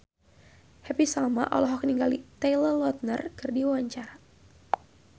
Happy Salma olohok ningali Taylor Lautner keur diwawancara